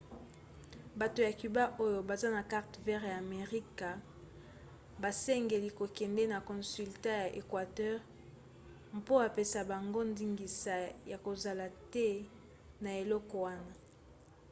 bato ya cuba oyo baza na carte verte ya amerika basengeli kokende na consulat ya equateur mpo apesa bango ndingisa ya kozala te na eloko wana